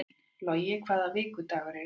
Logi, hvaða vikudagur er í dag?